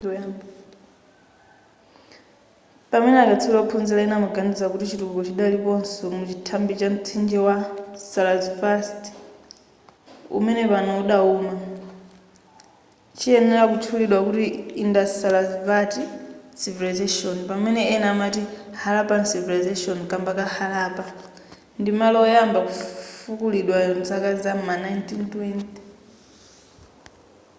pamene akatswiri ophunzira ena amaganiza kuti chitukuko chidaliponso muchithiba cha mtsinje wa sarasvati umene pano udawuma chiyenera kutchulidwa kuti indus-sarasvati civilization pamene ena amati harappan civilization kamba ka harappa ndi malo oyamba kufukulidwa mzaka zam'ma 1920